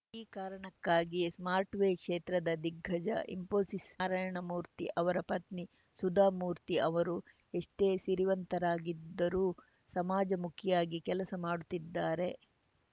ಈ ಕಾರಣಕ್ಕಾಗಿಯೇ ಸಾಫ್ಟ್‌ವೇರ್‌ ಕ್ಷೇತ್ರದ ದಿಗ್ಗಜ ಇಸ್ಫೋಸಿಸ್‌ ನಾರಾಯಣಮೂರ್ತಿ ಅವರ ಪತ್ನಿ ಸುಧಾಮೂರ್ತಿ ಅವರು ಎಷ್ಟೇ ಸಿರಿವಂತರಾಗಿದ್ದರೂ ಸಮಾಜಮುಖಿಯಾಗಿ ಕೆಲಸ ಮಾಡುತ್ತಿದ್ದಾರೆ